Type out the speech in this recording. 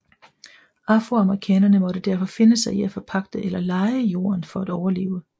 Afroamerikanerne måtte derfor finde sig i at forpagte eller leje jorden for at overleve